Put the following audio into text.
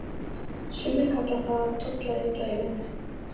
Sumir kalla það að tolla illa í vinnu.